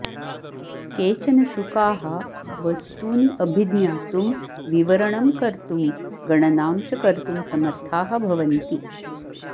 केचन शुकाः वस्तूनि अभिज्ञातुं विवरणं कर्तुं गणनां च कर्तुं समर्थाः भवन्ति